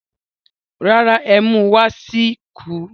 Rárá, ẹ́mú wá sì kù